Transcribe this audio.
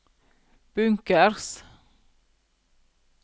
bunkers